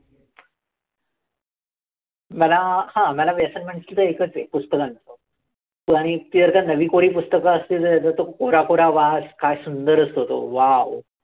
मला, हां मला व्यसन म्हणशील तर एकच आहे, पुस्तकांचं. आणि ती जर का नवी-कोरी पुस्तकं असतील तर, त्याचा कोरा कोरा वास काय सुंदर असतो तो. Wow